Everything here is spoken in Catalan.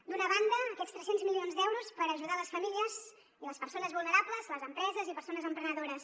d’una banda aquests tres cents milions d’euros per ajudar les famílies i les persones vulnerables les empreses i persones emprenedores